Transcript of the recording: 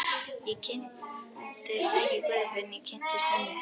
Ég kynntist ekki guði fyrr en ég kynntist Hönnu.